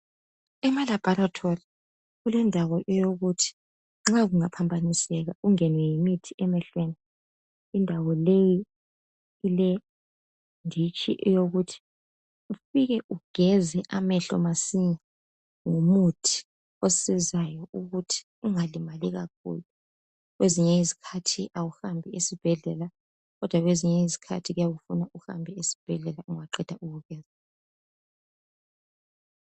emalabholatholi kulendawo wokuthi nxa kungaphambaniseka ungenwe yimithi emehlweni indawo leyi ilenditshi yokuthi ufike ugeze amehlo masinya ngomuthi osizayo ukuthi ungalimali kakhulu kwezinye izikhathi awuhambi esibhedlela kodwa kwezinye izikhathi kuyabe kufuna uhambe esibhedlela ungaqeda ukugeza